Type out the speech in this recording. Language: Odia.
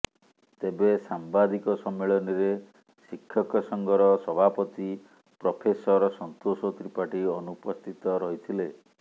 ତେବେ ସାମ୍ବାଦିକ ସମ୍ମିଳନୀରେ ଶିକ୍ଷକ ସଂଘର ସଭାପତି ପ୍ରଫେସର ସନ୍ତୋଷ ତ୍ରିପାଠୀ ଅନୁପସ୍ଥିତ ରହିଥିଲେ